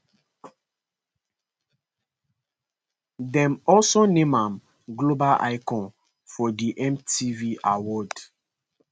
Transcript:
dem also name am global icon for di mtv awards